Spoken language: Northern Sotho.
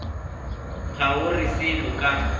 ga o re selo ka